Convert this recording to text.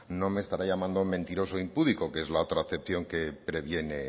no me estará llamando mentiroso impúdico que es la otra acepción que previene